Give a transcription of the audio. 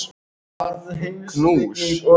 Um er að ræða varúðarráðstöfun